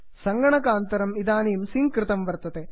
सङ्गणकान्तरम् इदानीं सिङ्क् कृतं वर्तते